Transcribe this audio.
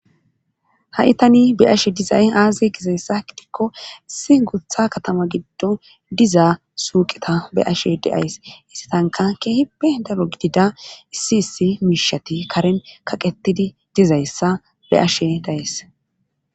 Ha'itani be'ashe dizay aaze gizayssa gidikko issi gutha katama giddon dizaa suuqeta be ashe deays issitanka keehippe daro gidida issi issi miishati karen kaqetidi dizayssa be ashe dayes.